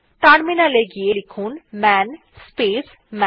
terminal এ গিয়ে লিখুন মান স্পেস মান